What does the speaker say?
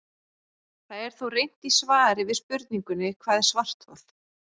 Það er þó reynt í svari við spurningunni Hvað er svarthol?